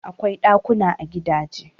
Akwai ɗakuna a gidaje.